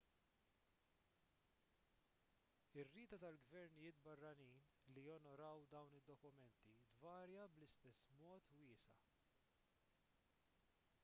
ir-rieda tal-gvernijiet barranin li jonoraw dawn id-dokumenti tvarja bl-istess mod wiesa'